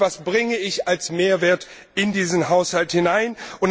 und nicht Was bringe ICH als Mehrwert in diesen Haushalt hinein?